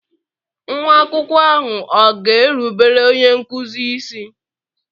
Nwa akwụkwọ ahụ ọ̀ ga-erubere onye nkụzi isi?